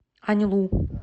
аньлу